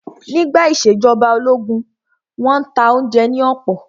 Nígbà ìṣèjọba ológun, wọ́n n ta oúnjẹ ní ọ̀pọ̀